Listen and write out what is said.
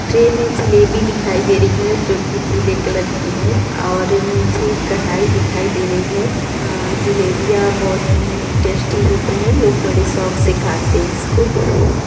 tray में जलेबी दिखाई दे रही है जो की पीले कलर की है और नीचे कढ़ाई दिखाई दे रही है और जलेबियां बहुत ही टेस्टी होती है लोग बड़े शौक से खाते हैं इसको--